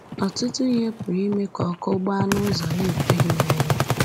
Ọtụtụ ihe pụrụ ime ka ọkụ gbaa n’ụzọ na-ekweghị mmenyụ.